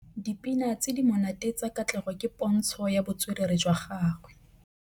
Dipina tse di monate tsa Katlego ke pôntshô ya botswerere jwa gagwe.